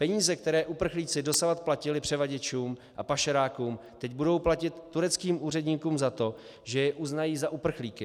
Peníze, které uprchlíci dosud platili převaděčům a pašerákům, teď budou platit tureckým úředníkům za to, že je uznají za uprchlíky.